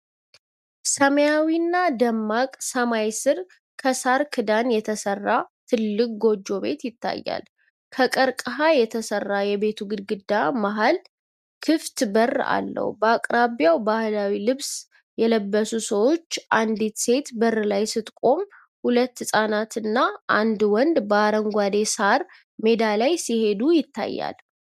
ሰማያዊና ደማቅ ሰማይ ሥር ከሳር ክዳን የተሰራ ትልቅ ጎጆ ቤት ይታያል። ከቀርከብ የተሰራው የቤቱ ግድግዳ መሃል ክፍት በር አለው። በአቅራቢያው ባህላዊ ልብስ የለበሱ ሰዎች፣ አንዲት ሴት በር ላይ ስትቆም፣ ሁለት ሕጻናትና አንድ ወንድ በአረንጓዴው ሣር ሜዳ ላይ ሲሄድ ይታያሉ።